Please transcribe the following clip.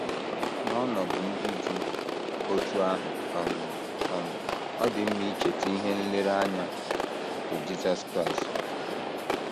um N’ọnọdụ ndị dị otú ahụ um, um ọ dị mma icheta ihe nlereanya nke Jisọs Kraịst.